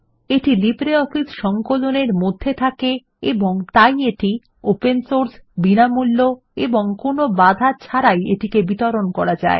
এটি লিব্রিঅফিস সংকলনের মধ্যে থাকে এবং তাই এটি ওপেন সোর্স বিনামূল্য এবং কোনো বাধা ছাড়াই এটিকে বিতরণ করা যায়